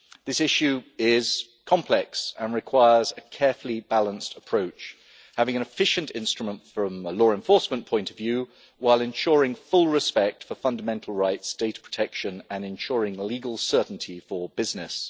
This issue is complex and requires a carefully balanced approach, having an efficient instrument from law enforcement point of view, while ensuring full respect for fundamental rights, data protection and ensuring legal certainty for business.